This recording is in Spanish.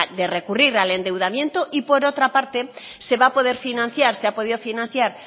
de recurrir al endeudamiento y por otra parte se va a poder financiar se ha podido financiar